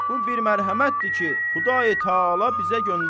Bu bir mərhəmətdir ki, Xudayi-Taala bizə göndərir.